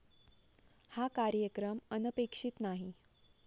हा कार्यक्रम अनपेक्षित नाही.